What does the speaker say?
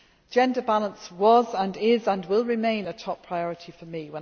Gender balance was and is and will remain a top priority